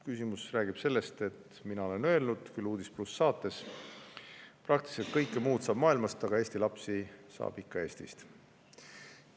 Küsimus räägib sellest, et mina olen öelnud "Uudis+" saates, et praktiliselt kõike muud saab maailmast, aga Eesti lapsi saab ikka Eestist.